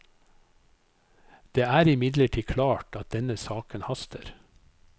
Det er imidlertid klart at denne saken haster.